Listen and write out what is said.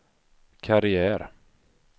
karriär